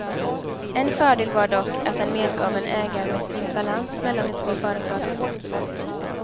En fördel var dock att den medgav en ägarmässig balans mellan de två företagen.